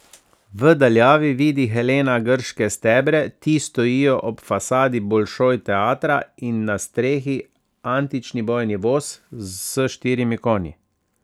V daljavi vidi Helena grške stebre, ti stojijo ob fasadi Bolšoj teatra, in na strehi antični bojni voz s štirimi konji.